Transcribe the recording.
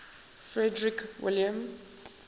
frederick william